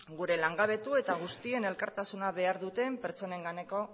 gure langabetu eta guztien elkartasuna behar duten pertsonen gaineko